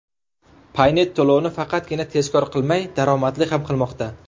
Paynet to‘lovni faqatgina tezkor qilmay, daromadli ham qilmoqda.